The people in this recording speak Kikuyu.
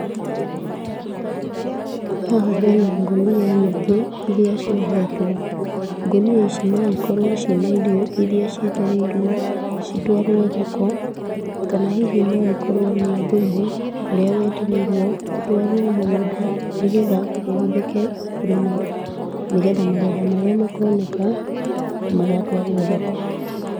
Haha hena ngũnia nyingĩ, irĩa ciohetwo, ngũnia ici no ikorwo cina irio, irĩa cietereirwo citwarwo thoko, kana hihi no ikorwo nĩ thumu ũrĩa wetereirwo ũtwarwo mũgũnda, nĩgetha ũhũthĩke kũrĩma, nĩgetha magetha marĩa makoneka, magatwarwo thoko.